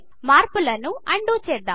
మార్పులను undo చేద్దాం